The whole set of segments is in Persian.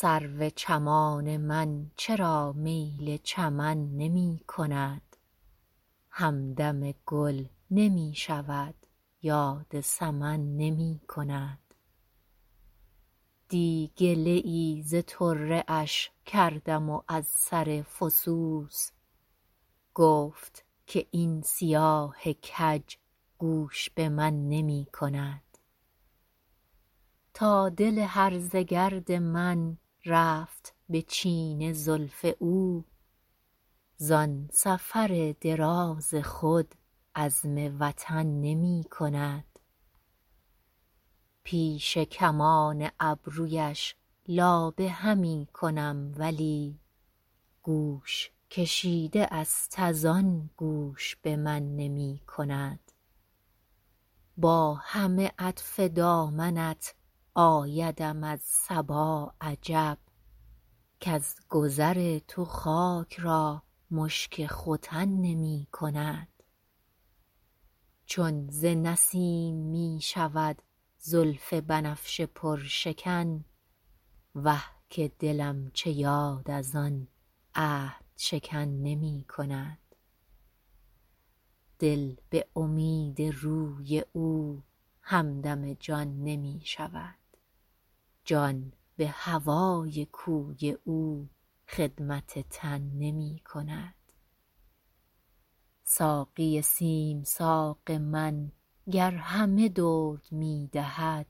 سرو چمان من چرا میل چمن نمی کند همدم گل نمی شود یاد سمن نمی کند دی گله ای ز طره اش کردم و از سر فسوس گفت که این سیاه کج گوش به من نمی کند تا دل هرزه گرد من رفت به چین زلف او زان سفر دراز خود عزم وطن نمی کند پیش کمان ابرویش لابه همی کنم ولی گوش کشیده است از آن گوش به من نمی کند با همه عطف دامنت آیدم از صبا عجب کز گذر تو خاک را مشک ختن نمی کند چون ز نسیم می شود زلف بنفشه پرشکن وه که دلم چه یاد از آن عهدشکن نمی کند دل به امید روی او همدم جان نمی شود جان به هوای کوی او خدمت تن نمی کند ساقی سیم ساق من گر همه درد می دهد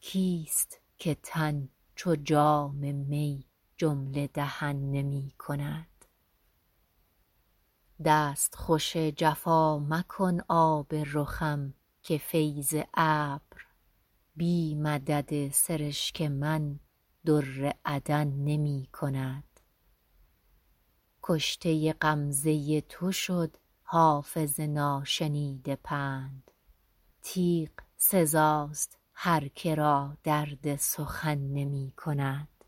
کیست که تن چو جام می جمله دهن نمی کند دستخوش جفا مکن آب رخم که فیض ابر بی مدد سرشک من در عدن نمی کند کشته غمزه تو شد حافظ ناشنیده پند تیغ سزاست هر که را درد سخن نمی کند